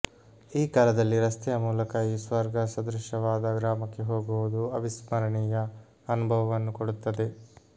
ಈ ಕಾಲದಲ್ಲಿ ರಸ್ತೆಯ ಮೂಲಕ ಈ ಸ್ವರ್ಗ ಸದೃಶ್ಯವಾದ ಗ್ರಾಮಕ್ಕೆ ಹೋಗುವುದು ಅವಿಸ್ಮರಣೀಯ ಅನುಭವವನ್ನು ಕೊಡುತ್ತದೆ